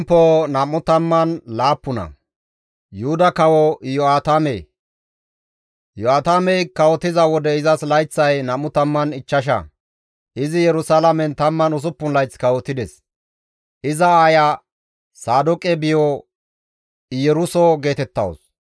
Iyo7aatamey kawotiza wode izas layththay 25; izi Yerusalaamen 16 layth kawotides; iza aaya Saadooqe biyo Iyeruso geetettawus.